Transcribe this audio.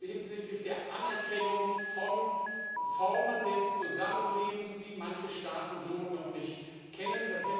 hinsichtlich der Anerkennung von Formen des Zusammenlebens, die manche Staaten so noch nicht kennen.